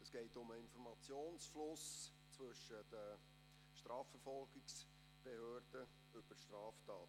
Es geht um den Informationsfluss zwischen den Strafverfolgungsbehörden über Straftaten.